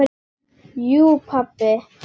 Jú pabbi.